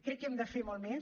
crec que hem de fer molt més